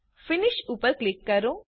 finish ઉપર click કરો